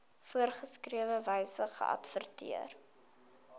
voorgeskrewe wyse geadverteer